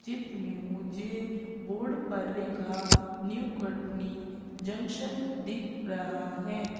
चित्र में मुझे बोर्ड पर लिखा न्यू कटनी जंक्शन दिख रहा है।